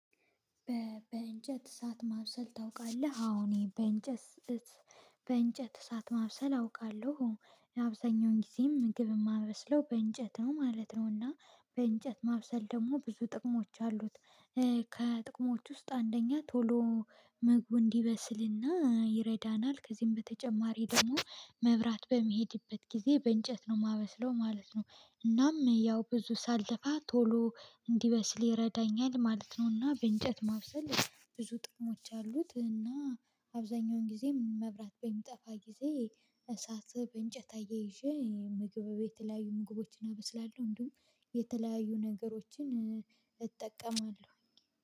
በእንጨት እሳት ማብሰል ታውቃለህ? አዎ እኔ በእንጨት በእንጨት እሳት ማብሰል አውቃለሁ ለአብዛኛውን ጊዜ ምግብ የማመስለው በእንጨት ነው ማለት ነው። እና በእንጨት ማብሰል ደግሞ ብዙ ጥቅሞች አሉት። ከጥቅሞቹ ውስጥ አንደኛ ቶሎ ምግቡ እንዲበስልና ይረዳናል ከዚህም በተጨማሪ ደግሞ መብራት በሚሄድበት ጊዜ በእንጨት ነው የማበስለው ማለት ነው። እናም ያው ብዙ ሳልለፋ ቶሎ እንዲበስል ይረዳኛል ማለት ነውና በእንጨት ማብሰል ብዙ ጥቅሞች አሉት። እና አብዛኛውን ጊዜ መብራት በሚጠፋ ጊዜ እሳት በእንጨት እያይዤ ምግብ እቤት የተለያዩ ምግቦችን አበስላለሁ። እንዲሁም የተለያዩ ነገሮችን እጠቀማለሁ